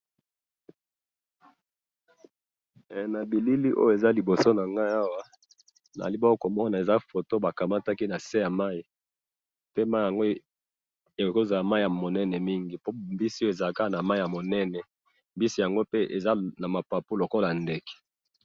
he na bilili oyo eza liboso nanga awa ezali bongo komona eza bongo foto bazwaki nase ya mayi pona ba mbisi oyo ezalaka kaka nase ya mayi minene pe mbisi yango ezali na mapapu lokola oyo na ndeke